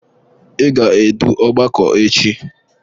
Ị ga-edu ọgbakọ echi!